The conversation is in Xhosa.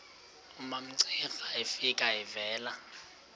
umamcira efika evela